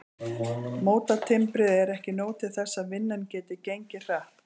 Mótatimbrið er ekki nóg til þess að vinnan geti gengið hratt.